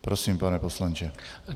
Prosím, pane poslanče.